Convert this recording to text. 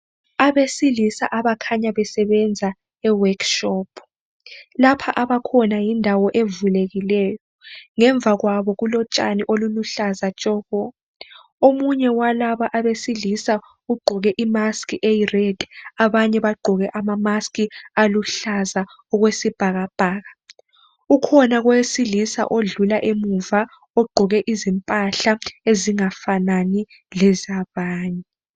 Abesilisa abakhanya besebenza eworkshop. Lapha abakhona yindawo evulekileyo, ngemva kwabo kulotshani oluluhlaza tshoko. Omunye walaba abesilisa ugqoke imask eyired, abanye bagqoke ama mask aluhlaza okwesibhakabhaka. Ukhona owesilisa odlula emuva ugqoke izimpahla ezingafanani lezabanye.